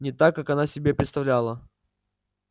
не так как она это себе представляла